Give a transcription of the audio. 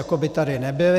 Jako by tady nebyli.